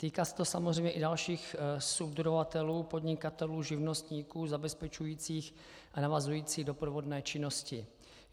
Týká se to samozřejmě i dalších subdodavatelů, podnikatelů, živnostníků zabezpečujících a navazující doprovodné činnosti.